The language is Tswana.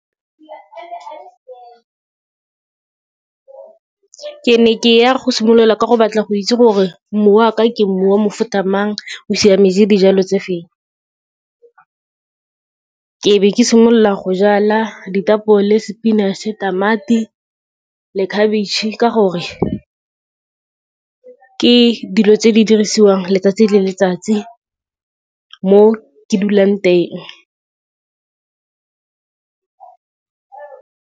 Ke ne ke ya go simolola ka go batla go itse gore, mmu wa ka, ke mmu wa mofuta mang, o siametse dijalo tse feng. Ke be ke simolola go jala ditapole, spinach-e, tamati le khabetšhe, ka gore ke dilo tse di dirisiwang letsatsi le letsatsi, mo ke dulang teng.